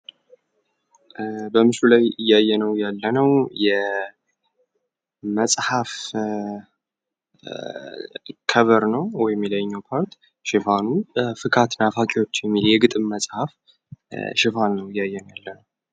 በምስሉ ላይ እያየነው ያለነው የመጽሐፈ ከቨር ነው። ወይም የላይኛው ፓርት ሽፋኑ ፍካት ናፋቂዎች የግጥም መጽሐፍ ሽፋን ነው።